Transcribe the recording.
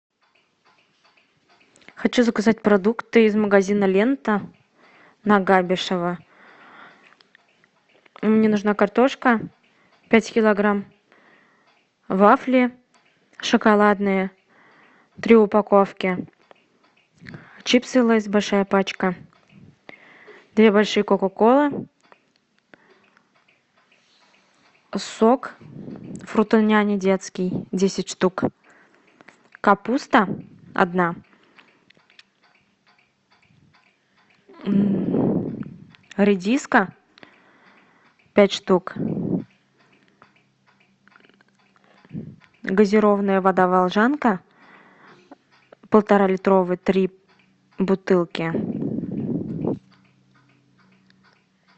хочу заказать продукты из магазина лента на габишева мне нужна картошка пять килограмм вафли шоколадные три упаковки чипсы лейс большая пачка две большие кока колы сок фрутоняня детский десять штук капуста одна редиска пять штук газированная вода волжанка полуторалитровая три бутылки